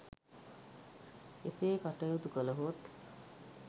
එසේ කටයුතු කළහොත්